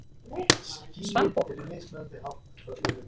Svanborg